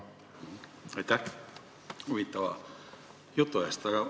Aitäh huvitava jutu eest!